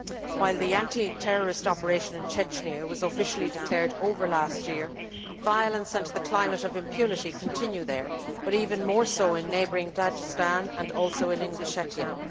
While the anti terrorist operation in Chechnya was officially declared over last year, violence and the climate of impunity continue there, but even more so in neighbouring Dagestan and also in Ingushetia.